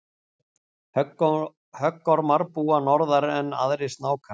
höggormar búa norðar en aðrir snákar